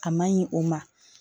A ma ɲi o ma